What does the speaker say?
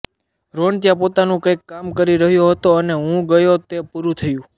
રોન ત્યાં પોતાનું કંઇક કામ કરી રહ્યો હતો અને હું ગયો તે પૂરૂં થયું